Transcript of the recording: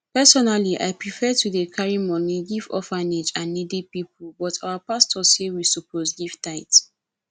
personally i prefer to dey carry money give orphanage and needy people but our pastor say we suppose give tithe